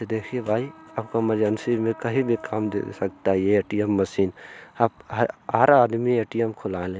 ये देखिए भाई आपको एमरजेंसी में कहीं भी काम दे सकता है ये ए.टी.एम मशीन आप ह-हर आदमी ए.टी.एम खुला ले।